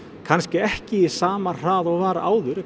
kannski ekki á sama hraða og var áður